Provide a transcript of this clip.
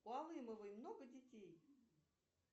у алымовой много детей